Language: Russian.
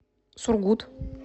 сургут